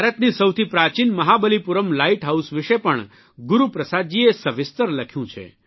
ભારતની સૌથી પ્રાચીન મહાબલીપુરમ લાઇટ હાઇસ વિષે પણ ગુરૂપ્રસાદજીએ સવિસ્તર લખ્યું છે